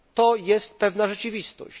To jest pewna rzeczywistość.